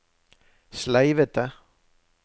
sleivete